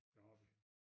Det har vi